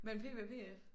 Mellem PB og PF?